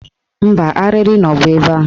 Mba, arịrị nọbu ebe ahụ